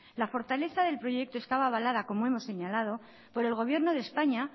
la fortaleza del proyecto estaba avalada como hemos señalado por el gobierno de españa